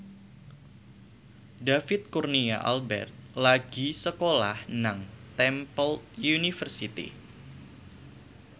David Kurnia Albert lagi sekolah nang Temple University